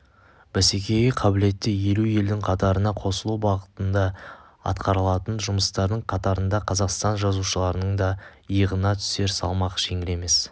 бәсекеге қабілетті елу елдің қатарына қосылу бағытында атқарылатын жұмыстардың қатарында қазақстан жазушыларының да иығына түсер салмақ жеңіл емес